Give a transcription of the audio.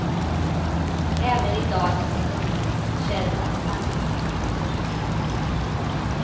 Även i dagens ekonomiskt kärva samhällsklimat.